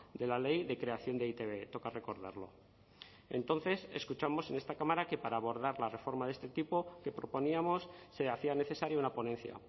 de la ley de creación de e i te be toca recordarlo entonces escuchamos en esta cámara que para abordar la reforma de este tipo que proponíamos se hacía necesaria una ponencia